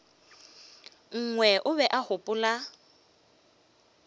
nngwe o be a gopola